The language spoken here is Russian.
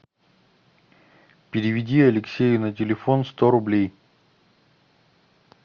переведи алексею на телефон сто рублей